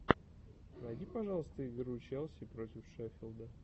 найди пожалуйста игру челси против шеффилда